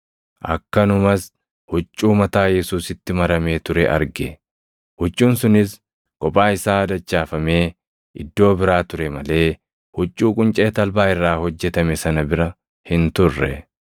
akkanumas huccuu mataa Yesuusitti maramee ture arge. Huccuun sunis kophaa isaa dachaafamee iddoo biraa ture malee huccuu quncee talbaa irraa hojjetame sana bira hin turre.